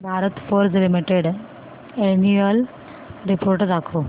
Bharat Forge limited annual report दाखव